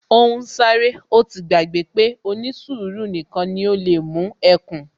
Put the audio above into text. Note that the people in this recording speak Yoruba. Ó ń sáré, ó ti gbàgbé pé ó ní sùúrù nìkan ni ó lè mú ẹkùn